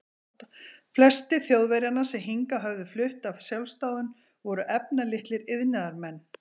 Flestir Þjóðverjanna, sem hingað höfðu flutt af sjálfsdáðum, voru efnalitlir iðnaðarmenn.